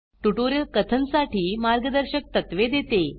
tutorial कथन साठी मार्गदर्शक तत्वे देते